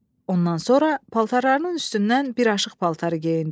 Ondan sonra paltarlarının üstündən bir aşıq paltarı geyindi.